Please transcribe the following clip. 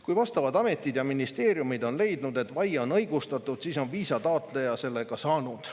Kui vastavad ametid ja ministeeriumid on leidnud, et vaie on õigustatud, siis on viisataotleja selle ka saanud.